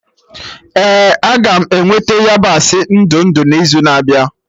Ee aga m eweta yabasị ndụ ndụ n'izu na-abịa